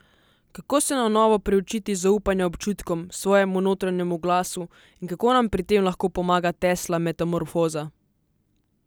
Kako se na novo priučiti zaupanja občutkom, svojemu notranjemu glasu in kako nam pri tem lahko pomaga Tesla metamorfoza?